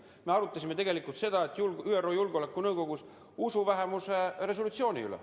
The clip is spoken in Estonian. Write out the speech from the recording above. Me arutasime ÜRO Julgeolekunõukogus usuvähemuste resolutsiooni üle.